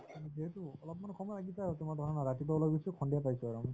যিহেতু অলপমান সময় লাগিছে আৰু তোমাৰ ৰাতিপুৱা ওলাই গৈছো সন্ধিয়া পাইছো আৰু আমি